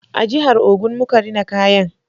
A jihar Ogun muka rina kayan